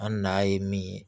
An na ye min ye